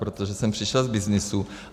Protože jsem přišel z byznysu.